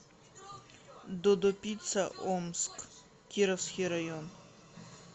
додо пицца омск кировский район